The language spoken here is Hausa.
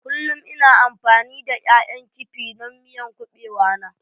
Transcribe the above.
Kullum ina amfani da ƴaƴan kifi don miyan kubewa na.